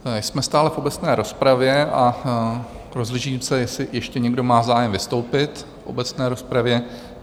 Jsme stále v obecné rozpravě a rozhlížím se, jestli ještě někdo má zájem vystoupit v obecné rozpravě.